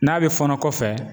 N'a bɛ fɔɔnɔ kɔfɛ